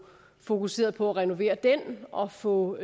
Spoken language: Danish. fokuseret på at renovere den og få